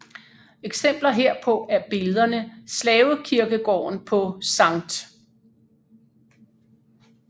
Eksempler herpå er billederne Slavekirkegaarden på Skt